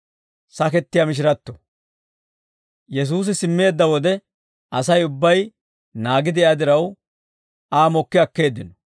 Yesuusi simmeedda wode Asay ubbay naagi de'iyaa diraw, Aa mokki akkeeddino.